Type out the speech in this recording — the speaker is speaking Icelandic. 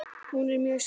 Og hún er mjög spennt.